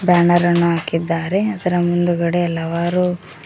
ರಣರಣ ಹಾಕಿದ್ದಾರೆ ಅದರ ಮುಂದುಗಡೆ ಹಲವಾರು--